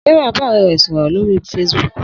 Sarah bá ọ̀rẹ́ rẹ̀ sọ̀rọ̀ lórí Facebook